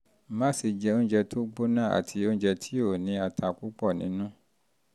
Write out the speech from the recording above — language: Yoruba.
má ṣe jẹ oúnjẹ tó gbóná àti oúnjẹ tió ní ata púpọ̀ nínú